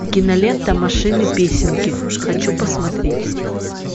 кинолента машины песенки хочу посмотреть